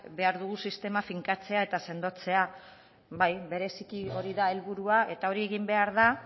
behar dugun sistema finkatzea eta sendotzea bai bereziki hori da helburua eta hori egin behar da